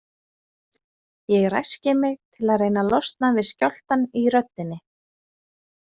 Ég ræski mig til að reyna að losna við skjálftann í röddinni.